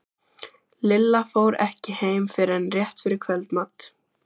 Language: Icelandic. Lilla fór ekki heim fyrr en rétt fyrir kvöldmat.